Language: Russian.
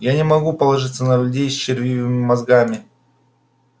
я не могу положиться на людей с червивыми мозгами